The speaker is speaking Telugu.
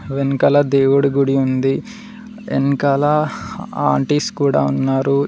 వెనకాల దేవుడి గుడి ఉంది వెనకాల ఆంటీస్ కూడా ఉన్నారు